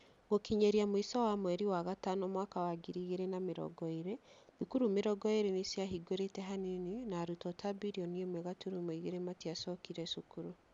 Gũkinyĩria mũico wa mweri wa gatano mwaka wa ngiri igĩrĩ na mĩrongo ĩrĩ, thukuru mĩrongo ĩrĩ nĩ ciahingũrĩte hanini, na arutwo ta birioni ĩmwe gaturumo igĩrĩ matiacokire cukuru.